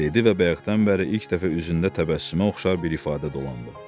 dedi və bayaqdan bəri ilk dəfə üzündə təbəssümə oxşar bir ifadə dolandı.